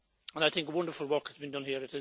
I think that wonderful work has been done here.